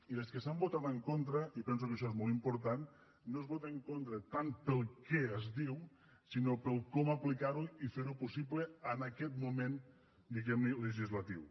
i les que s’han votat en contra i penso que això és molt important no es vota en contra tant pel què es diu sinó pel aplicar ho i fer ho possible en aquest moment diguem ne legislatiu